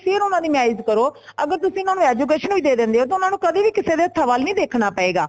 ਫ਼ਿਰ ਓਨਾ ਦੀ marriage ਕਰੋ ਅਗਰ ਤੁਸੀਂ ਐਨਾਨੁ education ਵੀ ਦੇ ਦੇਂਦੇ ਹੋ ਤੇ ਉਨ੍ਹਾਂਨੂੰ ਕਦੇ ਵੀ ਕਿਸੀ ਦੇ ਹੱਥਾਂ ਵਲ ਦੇਖਣਾ ਪਏਗਾ